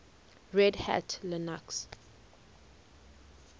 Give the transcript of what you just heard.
red hat linux